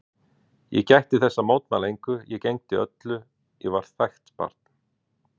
Ég gætti þess að mótmæla engu, ég gegndi öllu, ég var þægt barn.